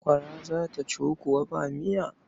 Sakwara kuwa za ta ciwu ba miya.